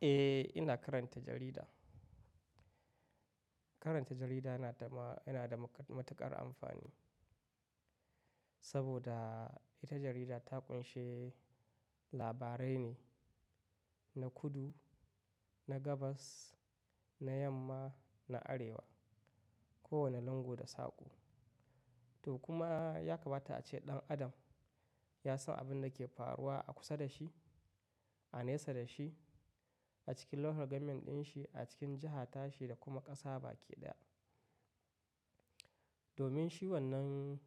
Eh, ina karanta jarida. Karanta jarida yana da ma, yana da matuƙar amfani, saboda ita jarida ta ƙunshi labarai ne, na kudu, na gabas, na yamma, na arewa, kowane lungu da saƙo. To kuma, ya kamata ace ɗan Adam, ya san abin da ke faruwa a kusa da shi, a nesa da shi, a cikin local government dinshi, a cikin jaha ta shi da kuma ƙasa baki ɗaya. Domin shi wannan,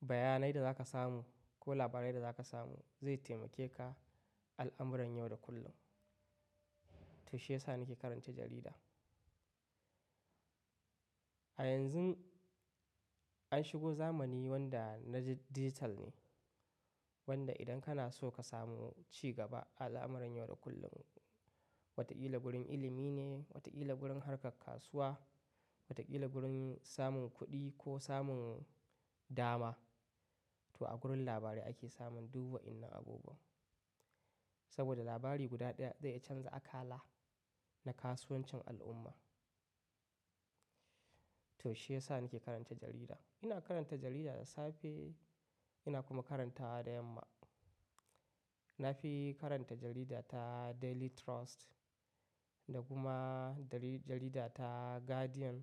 bayanai da za ka samu, ko labarai da za ka samu, zai taimake ka al'amuran yau da kullum. To shi ya sa nake karanta jarida. A yanzun, an shigo zamani wanda na digital ne, wanda idan kana so ka samu ci gaba al'amuran yau da kullum, wataƙila gurin ilimi ne, wataƙila gurin harkar kasuwa, wataƙila gurin samun kuɗi ko samun dama. To a gurin labarai ake samun duk wa'innan abubuwan. Saboda labari guda ɗaya zai iya canza akala, na kasuwancin al'umma. To shi ya sa nake karanta jarida. Ina karanta jarida da safe, ina kuma karantawa da yamma. Na fi karanta jarida ta Daily Trust, da kuma jarida ta Guardian,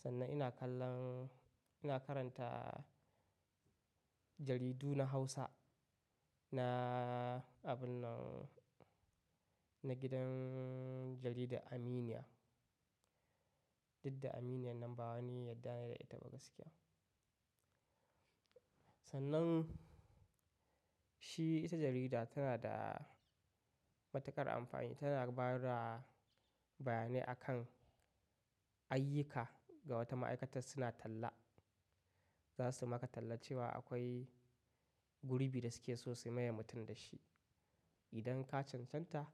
Sannan ina kallon, ina karanta jaridu na Hausa, na abun nan, na gidan jarida Aminiya. Didda Aminiyan nan ba wani yadda ne da ita ba gaskiya. Sannan, shi, ita jarida tana da matuƙar amfani, tana ba da bayanai akan ayyuka ga wata ma'aikatar suna talla. Za su maka talla cewa akwai gurbi da suke so su maye mutum da shi. Idan ka cancanta,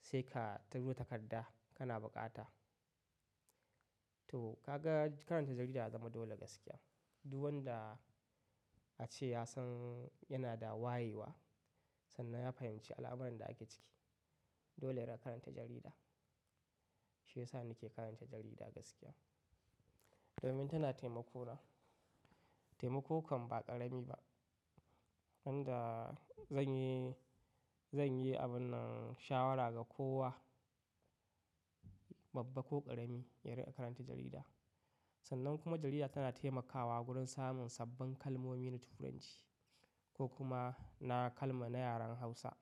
sai ka tura takarda kana buƙata. To, ka ga karanta jarida ya zama dole gaskiya. Duk wanda, a ce ya san yana da wayewa, sannan ya fahimci al'amuran da ake ciki, Dole ya na karanta jarida. Shi ya sa nake karanta jarida gaskiya. Domin tana taimako na. Taimako kam ba ƙarami ba. Wanda zan yi, zan yi abun nan shawara ga kowa, babba ko ƙarami ya rinƙa karanta jarida. Sannan kuma jarida tana taimakawa gurin samun sabbin kalmomi na Turanci, ko kuma na kalma na yaren Hausa.